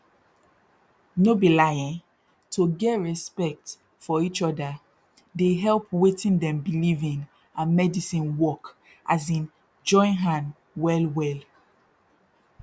no be lie eh to get respect for eachoda dey help wetin dem believe in and medisin work as in join hand well well